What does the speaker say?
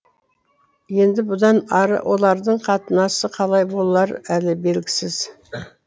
енді бұдан ары олардың қатынасы қалай болары әлі белгісіз